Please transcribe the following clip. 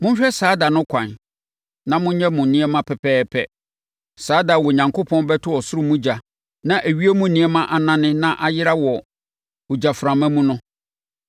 Monhwɛ saa da no kwan na monyɛ mo nneɛma pɛpɛɛpɛ; saa da a Onyankopɔn bɛto ɔsoro mu ogya na ewiem nneɛma anane na ayera wɔ ogyaframa mu no.